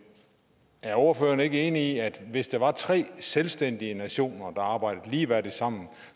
er ordføreren ikke enig i at hvis det var tre selvstændige nationer der arbejdede ligeværdigt sammen